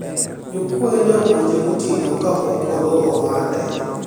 jokuoye ne omonje gotieno kapok oloro ohande